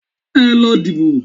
Ẹ lọ dìbò